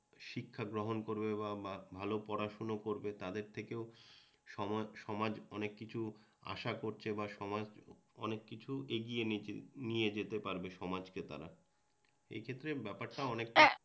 শিক্ষা গ্রহণ করবে বা ভালো পড়াশুনো করবে, তাদের থেকেও সমাজ সমাজ অনেক কিছু আশা করছে বা অনেক কিছু এগিয়ে নিয়ে যেতে পারবে সমাজকে তারা। এক্ষেত্রে ব্যাপারটা, অনেকটা হ্যাঁ